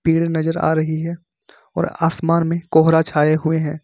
नजर आ रही है और आसमान में कोहरा छाए हुए हैं।